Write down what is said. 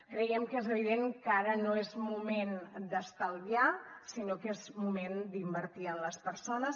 creiem que és evident que ara no és moment d’estalviar sinó que és moment d’invertir en les persones